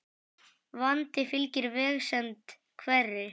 Vandi fylgir vegsemd hverri.